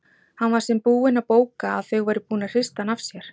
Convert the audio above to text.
Hann sem var búinn að bóka að þau væru búin að hrista hann af sér!